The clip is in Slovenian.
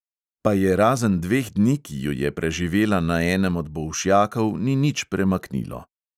Pa je razen dveh dni, ki ju je preživela na enem od bolšjakov, ni nič premaknilo.